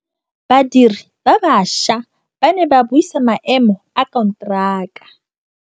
Badiri ba baša ba ne ba buisa maêmô a konteraka.